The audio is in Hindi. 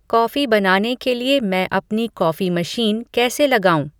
कॉफ़ी बनाने के लिए मैं अपनी कॉफ़ी मशीन कैसे लगाऊँ